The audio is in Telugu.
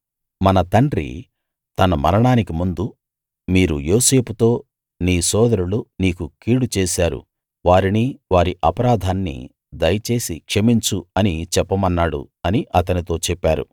మన తండ్రి తన మరణానికి ముందు మీరు యోసేపుతో నీ సోదరులు నీకు కీడు చేశారు వారిని వారి అపరాధాన్నీ దయచేసి క్షమించు అని చెప్పమన్నాడు అని అతనితో చెప్పారు